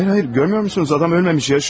Xeyr, xeyr, görmürsünüz, adam ölməyib, yaşayır.